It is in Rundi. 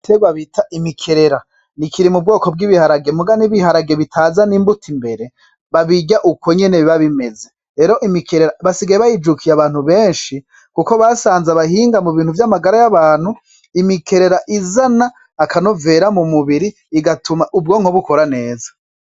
Igitegwa bita imikerera kiri mu bwoko bw'ibiharage muga ntibizana imbuto imbere babirya uko nyene, basigaye bayijukiye abantu benshi kuko basanze abahinga mu bintu vy'amagara y'abantu izana akanovera mu mubiri igatuma ubwonko bukora neza.